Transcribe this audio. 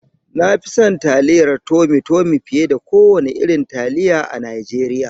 Na fi son taliyar tomi tomi fiye da kowane irin taliya a Najeriya.